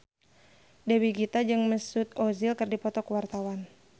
Dewi Gita jeung Mesut Ozil keur dipoto ku wartawan